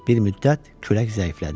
Bir müddət külək zəiflədi.